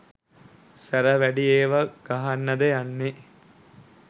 සැර වැඩි ඒව ගහන්නද යන්නෙ